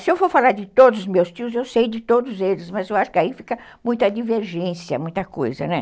Se eu for falar de todos os meus tios, eu sei de todos eles, mas eu acho que aí fica muita divergência, muita coisa, né?